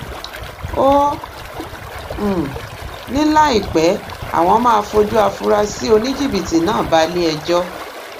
ó um ní láìpẹ́ àwọn máa fojú àfúráṣí oníjìbìtì náà baléẹjọ́